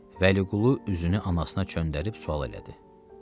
Vəliqulu üzünü anasına çöndərib sual elədi.